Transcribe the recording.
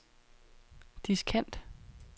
diskant